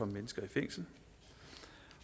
mennesker i fængsel